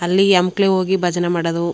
ಅಲ್ಲಿ ಹೆಂಕ್ಲೆ ಹೋಗಿ ಭಜನೆ ಮಾಡೋದು.